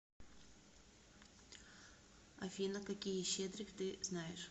афина какие щедрик ты знаешь